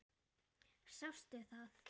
Sástu það?